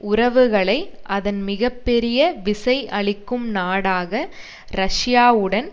உறவுகளை அதன் மிக பெரிய விசை அளிக்கும் நாடாக ரஷ்யாவுடன்